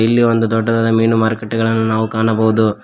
ಇಲ್ಲಿ ಒಂದು ದೊಡ್ಡದಾದ ಮೀನು ಮಾರಕಟ್ಟೆಗಳನ್ನು ನಾವು ಕಾಣಬಹುದು.